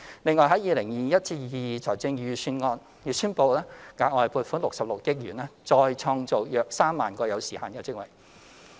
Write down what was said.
此外 ，2021-2022 年度財政預算案已宣布額外撥款66億元，再創造約3萬個有時限職位。